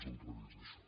és al revés això